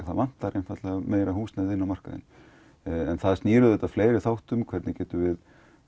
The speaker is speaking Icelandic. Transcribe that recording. það vantar húsnæði inn á markaðinn en það snýr að fleiri þáttum hvernig getum við